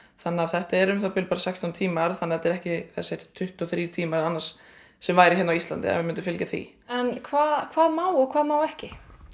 þannig að þetta er um það bil bara sextán tímar en ekki þessir tuttugu og þrír tímar sem væru hérna á Íslandi ef við myndum fylgja því hvað hvað má og hvað má ekki